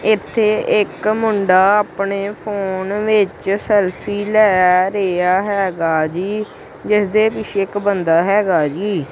ਇਥੇ ਇਕ ਮੁੰਡਾ ਆਪਣੇ ਫੋਨ ਵਿੱਚ ਸੈਲਫੀ ਲੈ ਰਿਹਾ ਹੈਗਾ ਜੀ ਜਿਸ ਦੇ ਪਿੱਛੇ ਇੱਕ ਬੰਦਾ ਹੈਗਾ ਜੀ।